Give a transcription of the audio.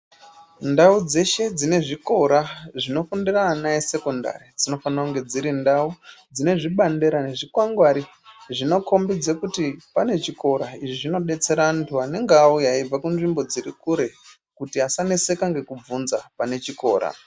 Ndau dzeshe dzine zvikora zvinofundira ana esekondari dzinofanira kunga dziri ndau dzinezvibandera nezvikwangwari zvinokombidze kuti pane chikora izvi zvinodetsera antu anenga auya eibve kunzvimbo dziri kure kuti asaneseka ngekubvunza pane chikora.